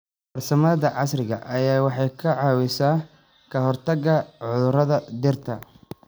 Farsamada casriga ahi waxay ka caawisaa ka hortagga cudurrada dhirta.